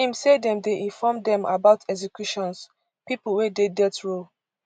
im say dem dey inform dem about executions pipo wey dey death row